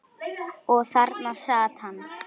Og þarna sat hann.